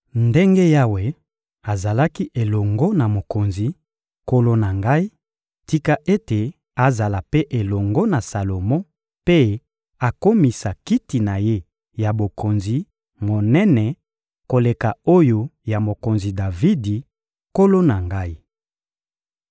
Ndenge Yawe azalaki elongo na mokonzi, nkolo na ngai, tika ete azala mpe elongo na Salomo mpe akomisa kiti na ye ya bokonzi monene koleka oyo ya mokonzi Davidi, nkolo na ngai!